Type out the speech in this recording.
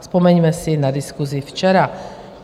Vzpomeňme si na diskusi včera.